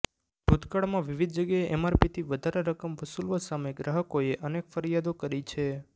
ભૂતકાળમાં વિવિધ જગ્યાએ એમઆરપીથી વધારે રકમ વસૂલવા સામે ગ્રાહકોએ અનેક ફરિયાદો કરી છે